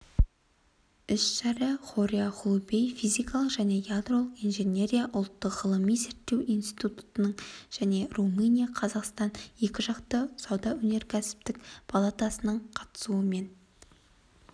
іс-шара хория хулубей физика және ядролық инженерия ұлттық ғылыми-зерттеу институтының және румыния-қазақстан екіжақты сауда-өнеркәсіптік палатасының қатысуымен